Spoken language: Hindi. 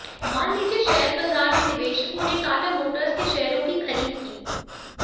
मान लीजिए शेयर बाजार में निवेशकों ने टाटा मोर्ट्स के शेयरों की खरीद की